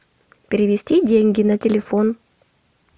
перевести деньги на телефон